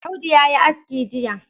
Audu ya yi aski Jiya.